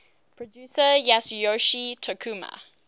producer yasuyoshi tokuma